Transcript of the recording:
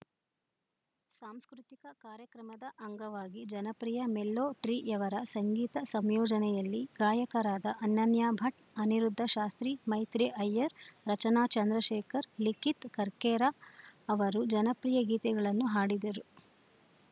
ಸಾಂಸ್ಕೃತಿಕ ಕಾರ್ಯಕ್ರಮದ ಅಂಗವಾಗಿ ಜನಪ್ರಿಯ ಮೆಲ್ಲೋ ಟ್ರೀಯವರ ಸಂಗೀತ ಸಂಯೋಜನೆಯಲ್ಲಿ ಗಾಯಕರಾದ ಅನನ್ಯ ಭಟ್‌ ಅನಿರುದ್ಧ ಶಾಸ್ಟ್ರೀ ಮೈತ್ರಿ ಅಯ್ಯರ್‌ ರಚನಾ ಚಂದ್ರಶೇಖರ್‌ ಲಿಖಿತ್‌ ಕರ್ಕೇರ ಅವರು ಜನಪ್ರಿಯ ಗೀತೆಗಳನ್ನು ಹಾಡಿದರು